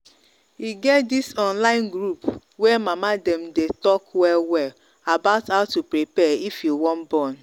e get this online group way mama them day talk well well about how to prepare if you wan born